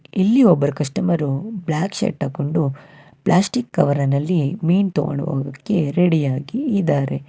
ಇಲ್ಲಿ ಒಬ್ಬರು customer black shirt ಹಾಕೊಂಡು ಪ್ಲಾಸ್ಟಿಕ್ ಕವರ್ ನಲ್ಲಿ ಮೀನ್ ತಗೊಂಡು ಹೋಗದಕ್ಕೆ ರೆಡಿ ಆಗಿ ಇದಾರೆ.